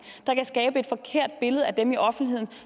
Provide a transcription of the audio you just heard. der kan skabe et forkert billede af dem i offentligheden